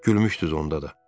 Gülmüşdüz onda da.